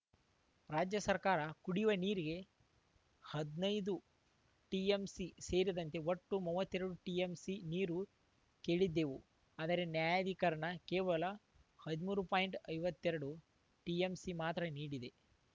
ರಾಜ್ಯ ಸರ್ಕಾರ ಕುಡಿಯವ ನೀರಿಗೆ ಹದ್ ನೈದು ಟಿಎಂಸಿ ಸೇರಿದಂತೆ ಒಟ್ಟು ಮೂವತ್ತ್ ಎರಡು ಟಿಎಂಸಿ ನೀರು ಕೇಳಿದ್ದೇವು ಆದರೆ ನ್ಯಾಯಾಧಿಕರಣ ಕೇವಲ ಹದ್ಮೂರು ಪಾಯಿಂಟ್ ಐವತ್ತ ಎರಡು ಟಿಎಂಸಿ ಮಾತ್ರ ನೀಡಿದೆ